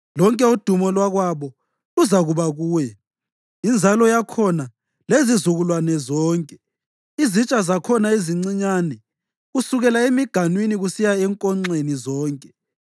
Lonke udumo lwakwabo luzakuba kuye, inzalo yakhona lezizukulwane zonke, izitsha zakhona ezincinyane, kusukela emiganwini kusiya enkonxeni zonke.